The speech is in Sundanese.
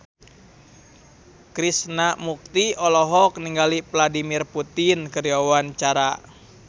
Krishna Mukti olohok ningali Vladimir Putin keur diwawancara